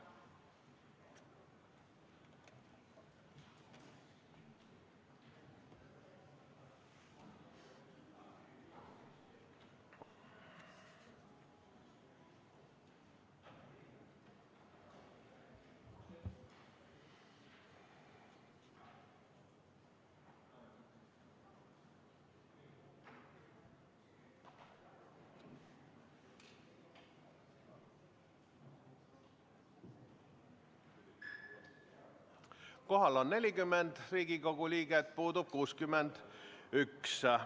Kohal on 40 Riigikogu liiget, puudub 61.